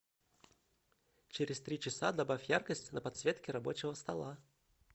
через три часа добавь яркость на подсветке рабочего стола